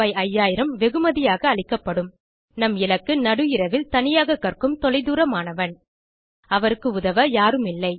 5000 வெகுமதியாக அளிக்கப்படும் நம் இலக்கு நடுஇரவில் தனியாக கற்கும் தொலைதூர மாணவன் அவருக்கு உதவ யாரும் இல்லை